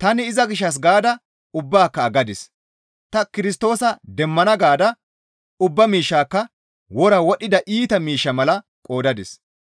tani iza gishshas gaada ubbaaka aggadis; ta Kirstoosa demmana gaada ubba miishshaakka wora wodhdhida iita miishsha mala qoodadis.